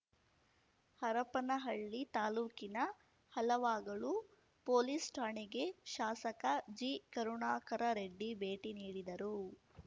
ಹರಪನಹಳ್ಳಿ ತಾಲ್ಲೂಕಿನ ಹಲವಾಗಲು ಪೊಲೀಸ್‌ ಠಾಣೆಗೆ ಶಾಸಕ ಜಿಕರುಣಾಕರರೆಡ್ಡಿ ಭೇಟಿ ನೀಡಿದರು